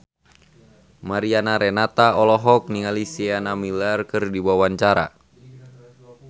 Mariana Renata olohok ningali Sienna Miller keur diwawancara